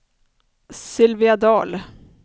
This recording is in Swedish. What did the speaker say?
Sylvia Dahl